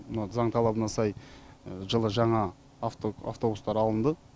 мына заң талабына сай жылы жаңа автобустар алынды